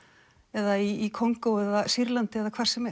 eða í Kongó eða Sýrlandi eða hvar sem